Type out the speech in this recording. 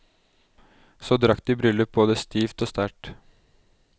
Så drakk de bryllup både stivt og sterkt.